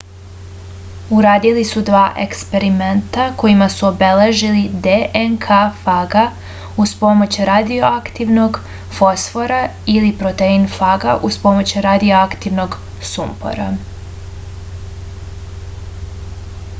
uradili su dva eksperimenta kojima su obeležili dnk faga uz pomoć radioaktivnog fosfora ili protein faga uz pomoć radioaktivnog sumpora